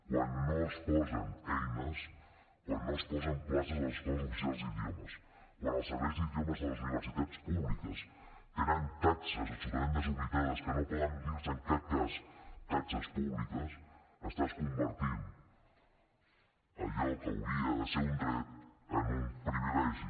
quan no es posen eines quan no es posen places a les escoles oficials d’idiomes quan els serveis d’idiomes de les universitats públiques tenen taxes absolutament desorbitades que no poden dir se en cap cas taxes públiques estàs convertint allò que hauria de ser un dret en un privilegi